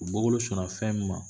U bɔ bolo sɔnna a fɛn min ma